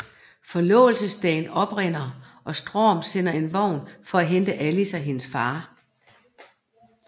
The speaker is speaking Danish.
Forlovelsesdagen oprinder og Strom sender en vogn for at hente Alice og hendes far